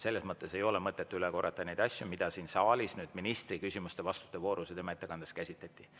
Ei ole mõtet üle korrata neid asju, mida siin saalis ministri küsimuste-vastuste voorus ja tema ettekandes käsitleti.